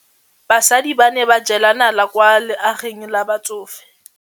Basadi ba ne ba jela nala kwaa legaeng la batsofe.